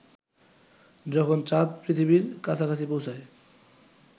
যখন চাঁদ পৃথিবীর কাছাকাছি পৌঁছায়